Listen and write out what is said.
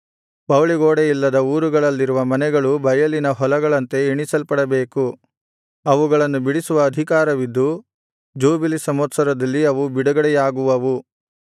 ಪೌಳಿಗೋಡೆಯಿಲ್ಲದ ಊರುಗಳಲ್ಲಿರುವ ಮನೆಗಳು ಬಯಲಿನ ಹೊಲಗಳಂತೆ ಎಣಿಸಲ್ಪಡಬೇಕು ಅವುಗಳನ್ನು ಬಿಡಿಸುವ ಅಧಿಕಾರವಿದ್ದು ಜೂಬಿಲಿ ಸಂವತ್ಸರದಲ್ಲಿ ಅವು ಬಿಡುಗಡೆಯಾಗುವವು